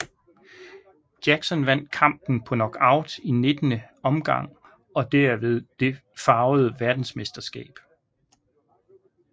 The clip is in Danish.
Jackson vandt kampen på knockout i 19 omgang og derved det farvede verdensmesterskab